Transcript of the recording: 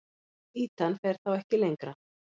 Ýtan fer þá ekki lengra.